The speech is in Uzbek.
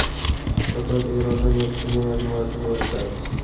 Total Eronda neft-kimyo majmuasini yaratadi.